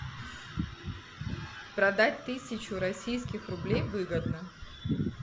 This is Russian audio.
продать тысячу российских рублей выгодно